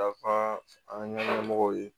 Dafa an ka ɲɛmɔgɔw ye